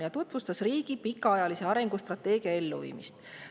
Ta tutvustas riigi pikaajalise arengustrateegia elluviimist.